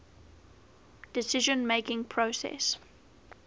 decision making process